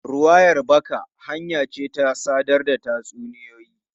Ruwayar baka hanya ce ta sadar da tatsuniyoyi.